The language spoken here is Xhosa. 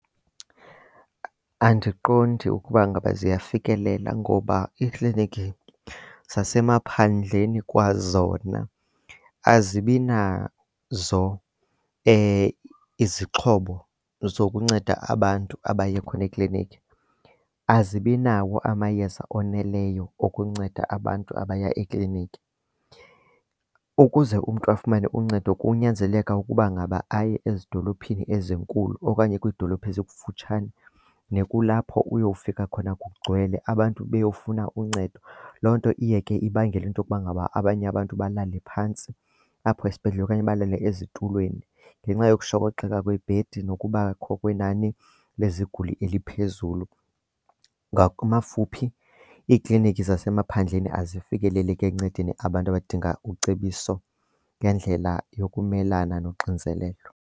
Andiqondi ukuba ngaba ziyafikelela ngoba iiklinikhi zasemaphandleni kwazona azibi nazo izixhobo zokunceda abantu abaye khona ekliniki, azibi nawo amayeza oneleyo okunceda abantu abaya ekliniki. Ukuze umntu afumane uncedo kunyanzeleka ukuba ngaba aye ezidolophini ezinkulu okanye kwidolophi ezikufutshane, nekulapho uyowufika khona kugcwele abantu beyofuna uncedo. Loo nto iye ke ibangele into yokuba ngaba abanye abantu balale phantsi apho esibhedlele okanye balale ezitulweni ngenxa yokushokoxeka kweebhedi nokubakho kwenani leziguli eliphezulu. Ngamafuphi, iiklinikhi zasemaphandleni azifikeleleki ekuncedeni abantu abadinga ucebiso ngendlela yokumela nonxinzelelo.